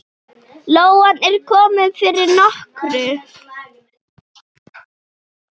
Lóan er komin fyrir nokkru.